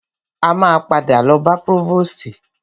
A máa padà lọ bá prọ́vòstì.